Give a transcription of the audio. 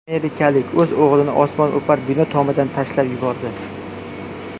Amerikalik o‘z o‘g‘lini osmono‘par bino tomidan tashlab yubordi.